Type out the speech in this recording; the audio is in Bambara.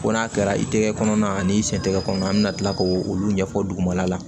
Ko n'a kɛra i tɛgɛ kɔnɔna ani i sen tɛgɛ kɔnɔ an bɛ na tila k'o olu ɲɛfɔ dugumala la